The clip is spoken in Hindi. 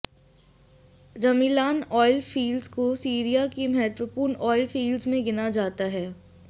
रमीलान आयल फ़ील्ड को सीरिया की महत्वपूर्ण आयल फ़ीलड्ज़ में गिना जाता है